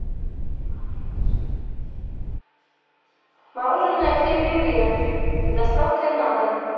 мороженое крем брюле с доставкой на дом